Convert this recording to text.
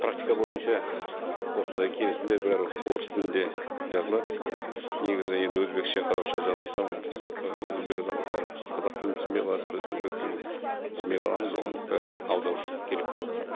практика бойынша осындай келісімдер бәрі орыс тілінде жазылады негізі енді өзбекше қазақша жазылса онда ііі өзбек азаматтары қазақ тілін түсінбей қалады біз өзбек тілін түсінбей қаламыз оған бір аударушы керек болады